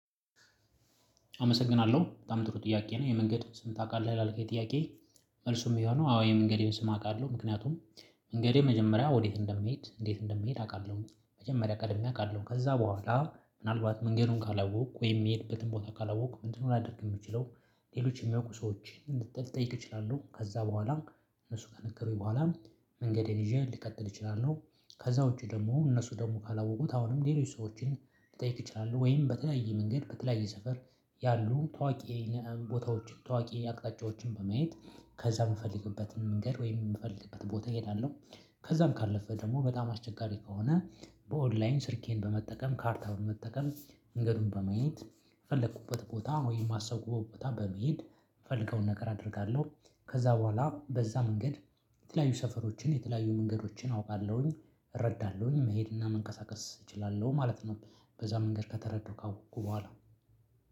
አመሰግናለሁ በጣም ጥሩ ጥያቄ ነው የመንገድ ስም ታውቃለህ ይላል ጥያቄ? መልሱም የሚሆነው አዎ የመንገዴን ስም አውቃለሁ። ምክንያቱም መንገዴ መጀመሪያ ወዴት እንደምሄድ እንዴት እንደምሄድ አውቃለሁኝ መጀመሪያ ቀድሜ አውቃለሁ ከዛ በኋላ ምናልባት መንገዱን ካላወቅኩ ወይ የሚሄድበትን ቦታ ካላወቅኩ ምንድነው ላደርግ የምችለው? ሌሎች የሚያውቁ ሰዎችን ልጠይቅ እችላለሁ ከዛ በኋላ እነሱ ጋር ነገሩኝ በኋላ መንገዴን ይዤ ልቀጥል እችላለሁ። ከዛ ውጪ ደግሞ እነሱ ደግሞ ካላወቁት አሁንም ሌሎች ሰዎችን ልጠይቅ እችላለሁ። ወይም በተለየ መንገድ በተለየ ሰፈር ያሉ ታዋቂ ያሉ ቦታዎች ታዋቂ አቅጣጫዎችን በማየት ከዛ የምፈልግበትን መንገድ ወይም የምፈልግበት ቦታ እሄዳለሁ። ከዛም ካለፈ ደግሞ በጣም አስቸጋሪ ከሆነ። በኦንላይን ስልኬን በመጠቀም ካርታውን በመጠቀም መንገዱን በማየት ፈለኩበት ቦታ ወይም አሰብኩበት ቦታ በመሄድ የምፈልገውን ነገር አደርጋለሁ። ከዛ በኋላ በዛ መንገድ የተለያዩ ሰፈሮችን የተለያዩ መንገዶችን አውቃለሁኝ እረዳለሁኝ መሄድ እና መንቀሳቀስ እችላለሁ ማለት ነው። በዛ መንገድ ከተረዳሁ ካወቅኩ በኋላ